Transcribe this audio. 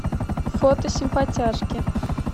фото симпатяжки